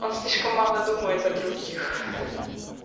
он слишком мало думает о других